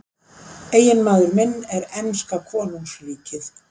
Eiginmaður minn er enska konungsríkið.